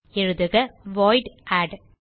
எழுதுக void add